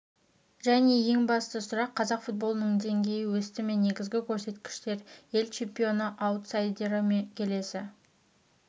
және ең басты сұрақ қазақ футболының деңгейі өсті ме негізгі көрсеткіштер ел чемпионы аутсайдері ме келесі